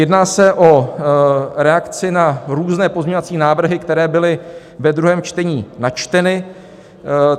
Jedná se o reakci na různé pozměňovací návrhy, které byly ve druhém čtení načteny.